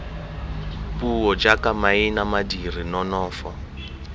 puo jaaka maina madiri nonofo